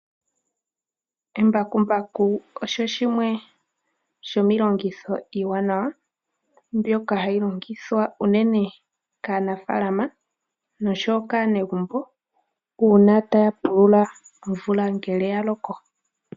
Embakumbaku Osho shimwe shomiilongitho iiwanawa mbyoka hashi longithwa uunene kaanafaalama noshowo kaanegumbo uuna taya pulula omvula ngele ya loko.